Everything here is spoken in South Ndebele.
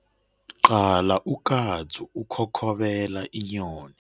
Qala ukatsu ukhokhobela inyoni.